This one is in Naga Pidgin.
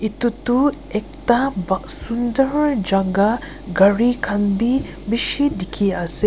etu tu ekta sunder jagah gari khan bhi bisi dekhi ase aru--